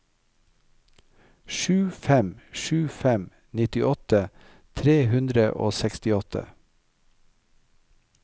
sju fem sju fem nittiåtte tre hundre og sekstiåtte